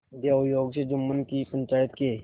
दैवयोग से जुम्मन की पंचायत के